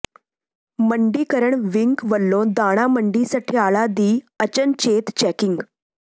ਮੰਡੀਕਰਣ wing ਵੱਲੋਂ ਦਾਣਾ ਮੰਡੀ ਸਠਿਆਲਾ ਦੀ ਅਚਨਚੇਤ ਚੈਕਿੰਗ